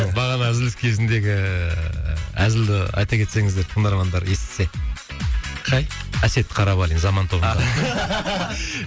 бағана үзіліс кезіндегі әзілді айта кетсеңіздер тыңдармандар естісе қай әсет қарабалин заман тобындағы